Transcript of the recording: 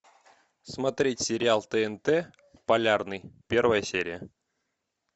смотреть сериал тнт полярный первая серия